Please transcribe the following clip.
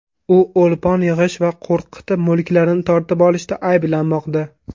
U o‘lpon yig‘ish va qo‘rqitib, mulklarni tortib olishda ayblanmoqda.